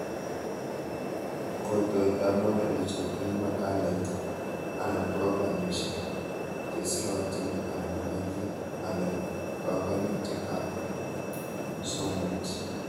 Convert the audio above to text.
Kotoetab modelishek eng makalait anan programishek cheserotin anan malik anan banganutikab somoit